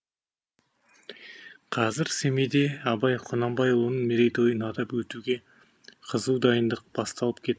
қазір семейде абай құнанбайұлының мерейтойын атап өтуге қызу дайындық басталып кет